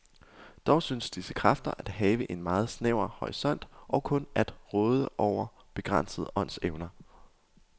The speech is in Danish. Dog synes disse kræfter at have en meget snæver horisont og kun at råde over begrænsede åndsevner.